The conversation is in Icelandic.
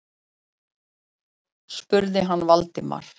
spurði hann Valdimar.